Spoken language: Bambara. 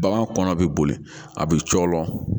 Bagan kɔnɔ bi boli a bi cɔlɔn